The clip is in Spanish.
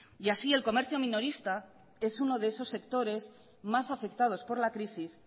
así el comercio minorista es uno de esos sectores más afectados por la crisis